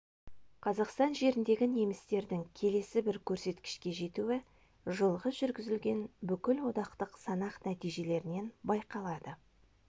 қазақстан жеріндегі немістердің келесі бір көрсеткішке жетуі жылғы жүргізілген бүкілодақтық санақ нәтижелерінен байқалады